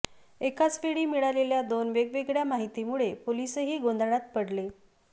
एकाच वेळी मिळालेल्या दोन वेगवेगळ्या माहितीमुळे पोलीसही गोंधळात पडले